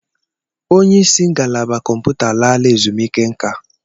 Onye isi ngalaba kọmputa alaala ezumiike nka